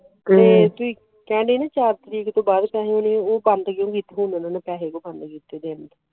ਕਹਿੰਦੇ ਨੇ ਚਾਰ ਤਰੀਕ ਵਿਚ